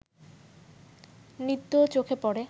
নৃত্যও চোখে পড়ে